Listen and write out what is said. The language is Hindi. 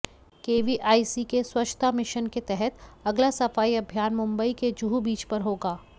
केवीआईसी के स्वच्छता मिशन के तहत अगला सफाई अभियान मुंबई के जुहू बीच पर होगा